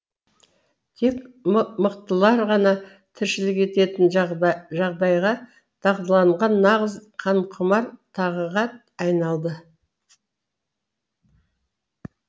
тек мықтылар ғана тіршілік ететін жағдайға дағдыланған нағыз қанқұмар тағыға айналды